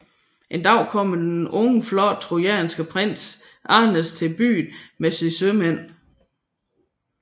En dag kommer den unge flotte trojanske prins Aeneas til byen med sine sømand